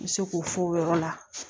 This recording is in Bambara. N bɛ se k'o fɔ o yɔrɔ la